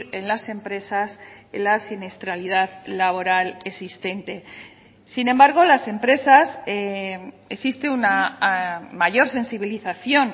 en las empresas la siniestralidad laboral existente sin embargo las empresas existe una mayor sensibilización